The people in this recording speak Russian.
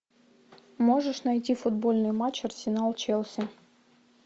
можешь найти футбольный матч арсенал челси